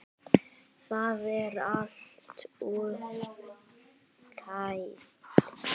Það er allt útpælt.